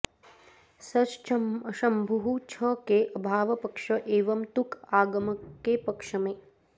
सञ्च्शम्भुः छ के अभाव पक्ष एवं तुक् आगम के पक्ष में